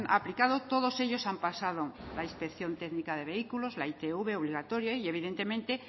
aplicado todos ellos han pasado la inspección técnica de vehículos la itv obligatoria y evidentemente